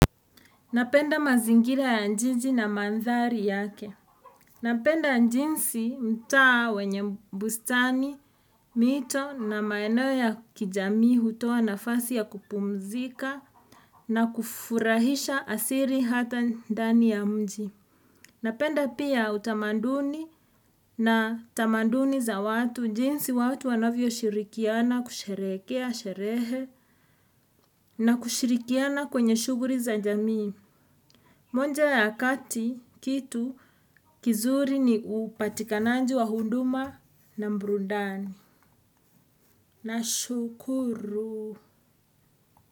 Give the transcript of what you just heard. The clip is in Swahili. Napenda mazingira ya jiji na mandhari yake. Napenda jinsi mtaa wenye bustani, mito na maeneo ya kijamii hutoa nafasi ya kupumzika na kufurahisha asili hata ndani ya mji. Napenda pia utamaduni na tamaduni za watu jinsi watu wanavyo shirikiana kusherehekea, sherehe na kushirikiana kwenye shughuli za jamii. Moja ya kati kitu kizuri ni upatikanaji wa huduma na burudani. Nashukuru.